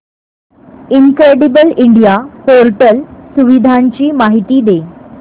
incredible India portal सुविधांची माहिती दे